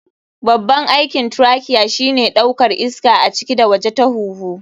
Babban aikin trachea shine ɗaukar iska a ciki da waje ta huhu.